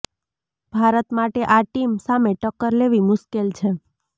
ભારત માટે આ ટીમ સામે ટક્કર લેવી મુશ્કેલ છે